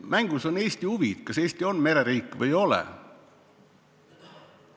Mängus on Eesti huvid: kas Eesti on mereriik või ei ole.